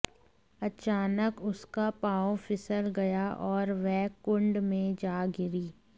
अचानक उसका पांव फिसल गया और वह कुंड में जा गिरी